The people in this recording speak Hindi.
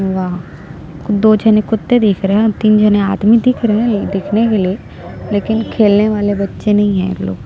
वह दो झने कुत्ते दिख रहै है तीन झने आदमी दिख रहै हैं दिखने के लिए लेकिन खेलने वाले बच्चे नहीं है ये लोग--